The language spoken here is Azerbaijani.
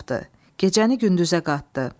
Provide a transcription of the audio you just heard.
Gecəni gündüzə qatdı.